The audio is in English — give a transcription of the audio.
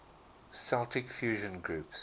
celtic fusion groups